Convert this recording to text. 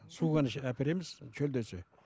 су ғана әпереміз шөлдесе